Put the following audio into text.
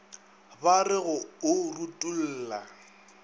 ba re go o rutolla